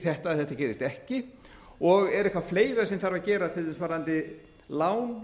þetta gerist ekki og er eitthvað fleira sem þarf að gera til dæmis varðandi lán